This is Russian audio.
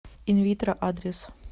инвитро адрес